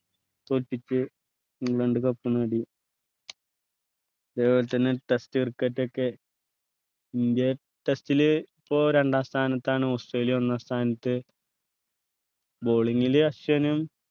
തോൽപ്പിക്കു England cup നേടി അതേപോലെ തന്നെ test cricket ഒക്കെ ഇന്ത്യ test ല് ഇപ്പോൾ രണ്ടാം സ്ഥാനത്താണ് ഓസ്ട്രേലിയ ഒന്നാം സ്ഥാനത്ത് bowling ലു അശ്വിനും